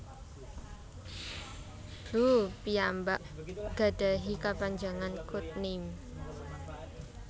Blue piyambak gadhahi kapanjangan code name